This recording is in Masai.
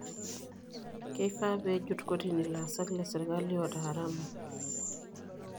Keifaa pee ejut kotini ilaasak lesirkali oota haramu.